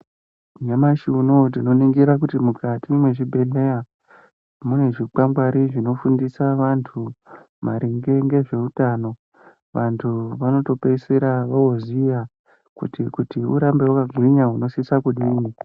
Nyamushi unowo tinoningira kuti mukati mwezvibhehleya zvikwangwari zvinofundisa vantu maringe ngezveutano vantu vanotopeisira voziya kuti kuti urambe wakagwinya unosisa kudini.